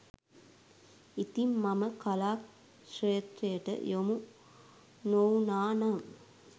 ඉතිං මම කලා ක්‍ෂේත්‍රයට යොමු නොවුණා නම්